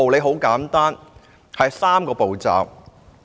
很簡單，有3個步驟。